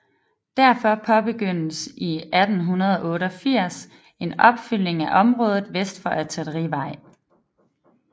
Derfor påbegyndtes i 1888 en opfyldning af området vest for Artillerivej